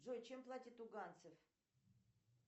джой чем платят туганцы